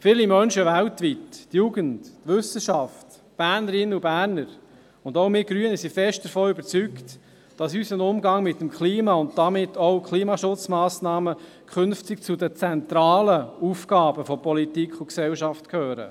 Viele Menschen weltweit, die Jugend, die Wissenschaft, die Bernerinnen und Berner und auch wir Grünen sind fest davon überzeugt, dass unser Umgang mit dem Klima und damit auch Klimaschutzmassnahmen künftig zu den zentralen Aufgaben von Politik und Gesellschaft gehören.